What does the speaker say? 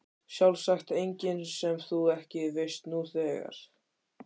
Sjálfsagt engin sem þú ekki veist nú þegar.